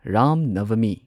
Ram Navami